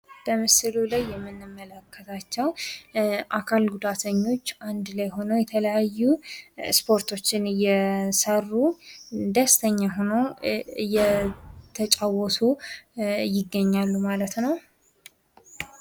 በምስሉ ላይ የምንመለከታቸው አካል ጉዳተኞች አንድ ላይ ሁነው የተለያዩ ስፖርቶችን እየሰሩ ደስተኛ ሁነው እየተጫወቱ ይገኛሉ ማለት ነው።